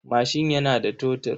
Mashin yana da totur.